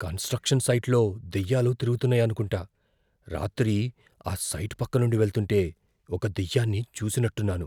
Construction సైట్లో దెయ్యాలు తిరుగుతున్నాయనుకుంటా. రాత్రి ఆ సైట్ పక్కనుండి వెళ్తుంటే ఒక దెయ్యాన్ని చూసినట్టున్నాను.